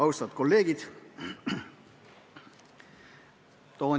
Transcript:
Austatud kolleegid!